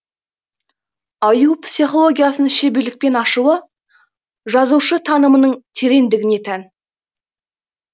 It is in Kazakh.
аю психологиясын шеберлікпен ашуы жазушы танымының тереңдігіне тән